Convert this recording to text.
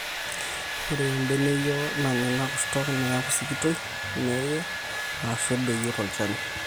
ore embeneyio nanya ina kurto neeku sikitoi, neye, aashu edoyio tolchani